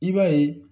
I b'a ye